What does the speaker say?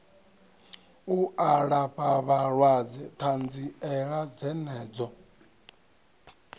u alafha vhalwadze ṱanziela dzenedzo